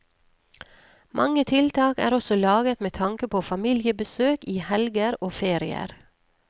Mange tiltak er også laget med tanke på familiebesøk i helger og ferier.